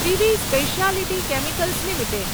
privy Speciality Chemicals limited